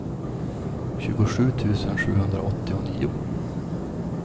tjugosju tusen sjuhundraåttionio